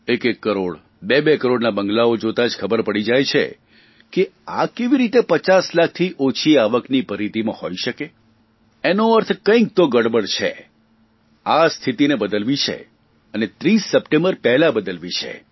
એક એક કરોડ બેબે કરોડના બંગલાઓ જોતાં જ ખબર પડી જાય છે કે આ કેવી રીતે પચાસ લાખથી ઓછી આવકની પરિધીમાં હોઇ શકે છે એનો અર્થ કંઇક તો ગડબડ છે અને 30 સપ્ટેમ્બર પહેલાં બદલવી છે